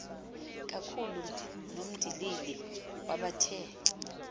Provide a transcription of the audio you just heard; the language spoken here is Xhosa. kakhulu nomndilili wabathe